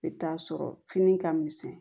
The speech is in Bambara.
I bɛ taa sɔrɔ fini ka misɛn